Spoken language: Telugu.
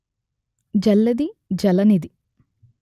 జలధి జలనిధి